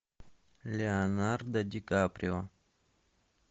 леонардо ди каприо